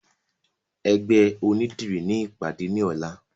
Ẹgbẹ́ onídìrí ni ìpàdé ní ọ̀la